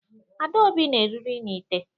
Adaobi na-eriri n'ite